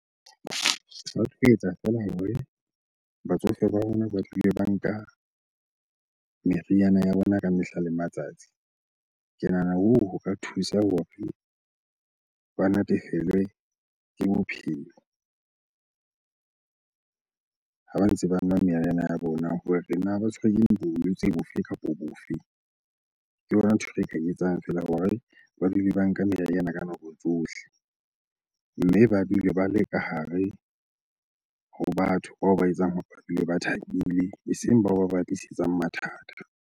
Ba tlo etsa feela hore batsofe ba rona ba dule ba nka meriana ya bona ka mehla le matsatsi. Ke nahana hoo ho ka thusa hore ba natefelwe ke bophelo ha ba ntse ba nwa meriana ya bona hore na ba tshwerwe ke bolwetse bofe kapo bofe? Ke yona ntho e re ka e etsang feela hore ba dule ba nka meriana nna ka nako tsohle. Mme ba dule ba le ka hare ho batho bao ba etsang hore ba dule ba thabile, eseng bao ba ba tlisetsang mathata.